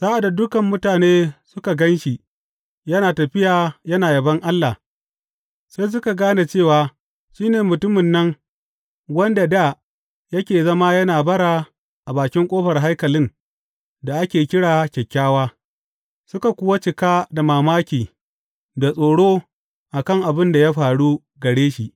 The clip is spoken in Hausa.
Sa’ad da dukan mutane suka gan shi yana tafiya yana yabon Allah, sai suka gane cewa shi ne mutumin nan wanda dā yake zama yana bara a bakin ƙofar haikalin da ake kira Kyakkyawa, suka kuwa cika da mamaki da tsoro a kan abin da ya faru gare shi.